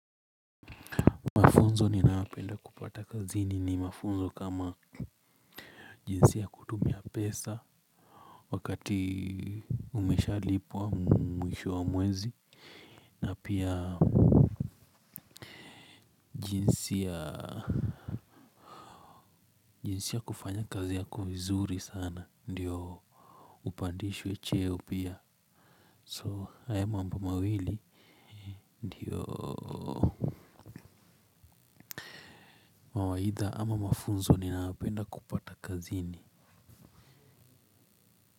Mafunzo ninaopenda kupata kazini ni mafunzo kama jinsi ya kutumia pesa wakati umeshalipwa mwisho wa mwezi na pia jinsi ya jinsi ya kufanya kazi yako vizuri sana ndiyo upandishwe cheo pia so haya mambo mawili ndiyo mawaidha ama mafunzo ninaopenda kupata kazini.